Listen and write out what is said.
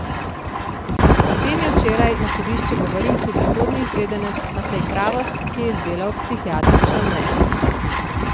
O tem je včeraj na sodišču govoril tudi sodni izvedenec Matej Kravos, ki je izdelal psihiatrično mnenje.